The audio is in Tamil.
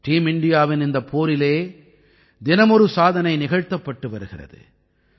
டீம் இண்டியாவின் இந்தப் போரிலே தினமொரு சாதனை நிகழ்த்தப்பட்டு வருகிறது